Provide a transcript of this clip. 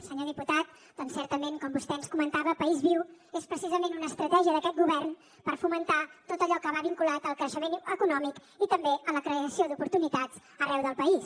senyor diputat doncs certament com vostè ens comentava país viu és precisament una estratègia d’aquest govern per fomentar tot allò que va vinculat al creixement econòmic i també a la creació d’oportunitats arreu del país